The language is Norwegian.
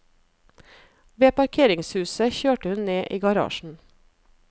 Ved parkeringshuset kjørte hun ned i garasjen.